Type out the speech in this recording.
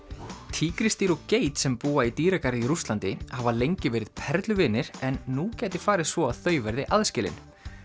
tígrisdýr og geit sem búa í dýragarði í Rússlandi hafa lengi verið perluvinir en nú gæti farið svo að þau verði aðskilin